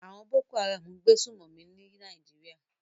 Àwon Boko Haram n gbé sùmòmí ní Naijiria